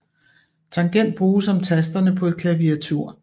Tangent bruges om tasterne på et klaviatur